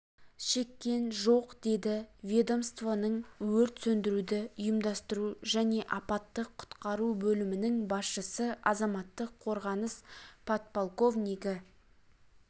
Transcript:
шеккен жоқ деді ведомствоның өрт сөндіруді ұйымдастыру және апаттық құтқару бөлімінің басшысы азаматтық қорғаныс подполковнигі